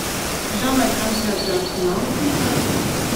давай трансляцию арсенал с ньюкаслом